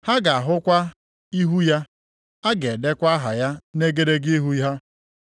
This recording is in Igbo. Ha ga-ahụkwa ihu ya, a ga-edekwa aha ya nʼegedege ihu ha.